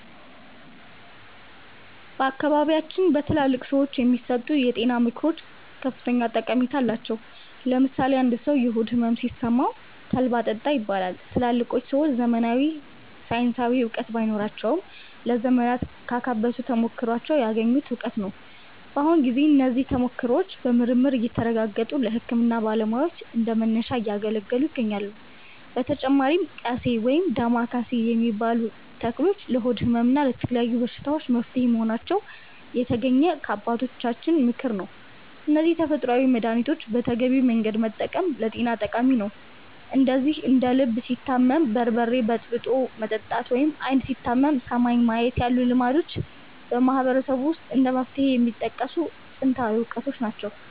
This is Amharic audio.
በአካባቢያችን በትላልቅ ሰዎች የሚሰጡ የጤና ምክሮች ከፍተኛ ጠቀሜታ አላቸው። ለምሳሌ አንድ ሰው የሆድ ሕመም ሲሰማው 'ተልባ ጠጣ' ይባላል። ትላልቆቹ ሰዎች ዘመናዊ ሳይንሳዊ እውቀት ባይኖራቸውም፣ ለዘመናት ካካበቱት ተሞክሮ ያገኙት እውቀት ነው። በአሁኑ ጊዜ እነዚህ ተሞክሮዎች በምርምር እየተረጋገጡ ለሕክምና ባለሙያዎች እንደ መነሻ እያገለገሉ ይገኛሉ። በተጨማሪም 'ቀሴ' (ወይም ዳማከሴ) የሚባሉ ተክሎች ለሆድ ሕመም እና ለተለያዩ በሽታዎች መፍትሄ መሆናቸው የተገኘው ከአባቶቻችን ተሞክሮ ነው። እነዚህን ተፈጥሯዊ መድኃኒቶች በተገቢው መንገድ መጠቀም ለጤና ጠቃሚ ነው። እንደዚሁም እንደ 'ልብ ሲታመም በርበሬ በጥብጦ መጠጣት' ወይም 'ዓይን ሲታመም ሰማይን ማየት' ያሉ ልማዶችም በማህበረሰቡ ውስጥ እንደ መፍትሄ የሚጠቀሱ ጥንታዊ እውቀቶች ናቸው።